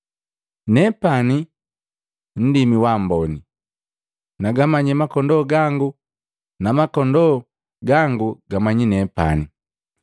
Nepani nundimi waamboni. Nagamanyi makondoo gangu, nagombi makondoo gangu gamanyi nepani,